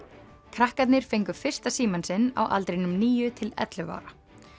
krakkarnir fengu fyrsta símann sinn á aldrinum níu til ellefu ára